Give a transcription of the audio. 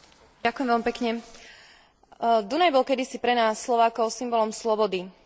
Dunaj bol kedysi pre nás, Slovákov, symbolom slobody. Dnes je pre nás symbolom spolupráce.